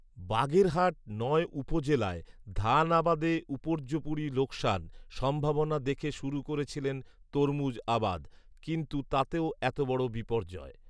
বাগেরহাট নয় উপজেলায় ধান আবাদে উপর্যুপরি লোকসান, সম্ভাবনা দেখে শুরু করেছিলেন তরমুজ আবাদ। কিন্তু তাতেও এত বড় বিপর্যয়